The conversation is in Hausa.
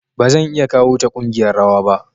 Ba zan iya kawo ta ƙungiyar rawa ba.